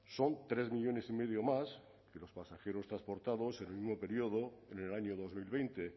son tres millónes y medio más que los pasajeros transportados en el mismo periodo en el año dos mil veinte